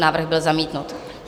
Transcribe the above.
Návrh byl zamítnut.